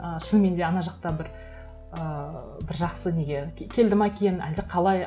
ы шынымен де ана жақта бір ыыы бір жақсы неге келді ме екен әлде қалай